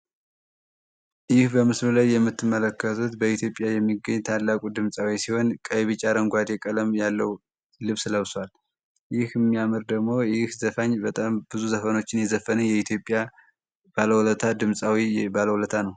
እይህ በምስሉ ላይ የምትመለከቱት በኢትዮጵያ የሚገኝ ታላቁ ድምፃዊ ሲሆን ቀይቢጫ አረንጓድ ቀለም ያለው ልብስ ለብሷል ይህ የሚያምር ደግሞ ይህ ዘፋኝ በጣም ብዙ ዘፈኖችን የዘፈን የኢትዮጵያ ባለውለታ ድምፃዊ ባለውለታ ነው።